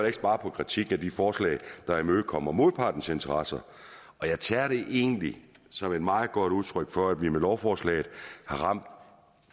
ikke sparet på kritik af de forslag der imødekommer modpartens interesser jeg tager det egentlig som et meget godt udtryk for at vi med lovforslaget har ramt